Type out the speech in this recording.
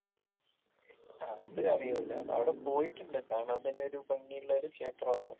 അത് അറിയൂല അവിടെ പോയിട്ടുണ്ട് കാണാൻ തന്നെ ഒരു ഭംഗി ഉള്ളൊരു ക്ഷേത്രാണ്.